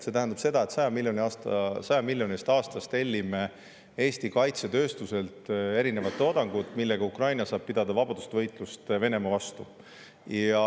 See tähendab seda, et 100 miljoni euro eest aastas tellime Eesti kaitsetööstuselt erinevat toodangut, millega Ukraina saab pidada vabadusvõitlust Venemaa vastu.